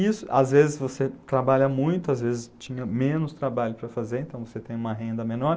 Isso, às vezes você trabalha muito, às vezes tinha menos trabalho para fazer, então você tem uma renda menor.